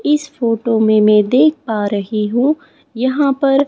इस फोटो में मैं देख पा रही हूं यहां पर--